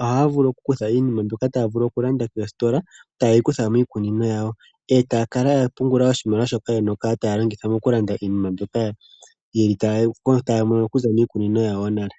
ohaya vulu okukutha iinima mbyoka taya vulu okulanda koositola, taye yi kutha miikunino yawo, e taya kala ya pungula oshimaliwa shoka ya li ye na okukala taya longitha mokulanda iinima mbyoka taya mono miikunino yawo nale.